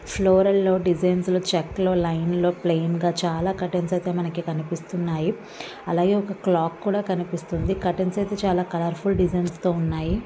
Floral designs చెక్కలు plain లో చాలా కర్తన్స్ అయితే మనకి కనిపిస్తున్నాయి అలాగే ఒక క్లాక్ కూడా కనిపిస్తుంది కర్తన్స్ అయితే చాలా కాళోర్ఫుల్ డిజైన్ తో ఉన్నాయి. .